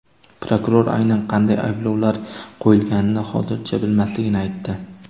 Prokuror aynan qanday ayblovlar qo‘yilganini hozircha bilmasligini aytdi.